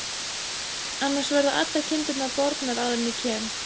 Annars verða allar kindurnar bornar áður en ég kem.